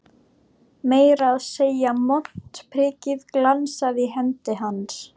Meira að segja montprikið glansaði í hendi hans.